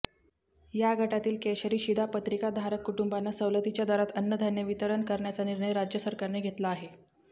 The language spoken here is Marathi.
या गटातील केशरी शिधापत्रिकाधारक कुटुंबांना सवलतीच्या दरात अन्नधान्य वितरण करण्याचा निर्णय राज्य सरकारने घेतला आहे